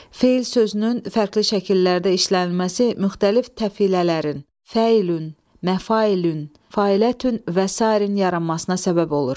Feil sözünün fərqli şəkillərdə işlənilməsi müxtəlif təfilələrin, fəülün, məfülün, fəülün və sair yaranmasına səbəb olur.